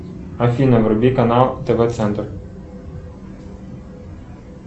афина вруби канал тв центр